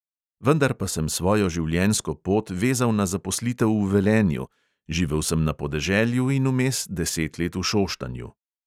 Vendar pa sem svojo življenjsko pot vezal na zaposlitev v velenju, živel sem na podeželju in vmes deset let v šoštanju.